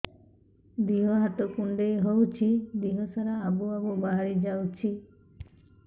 ଦିହ ହାତ କୁଣ୍ଡେଇ ହଉଛି ଦିହ ସାରା ଆବୁ ଆବୁ ବାହାରି ଯାଉଛି